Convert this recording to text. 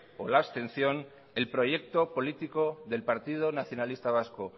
o de abstención el proyecto político del partido nacionalista vasco